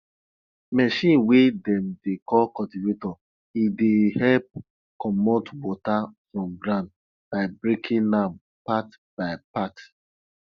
machine wey dem dey call cultivator e dey help commot water from ground by breaking am part by part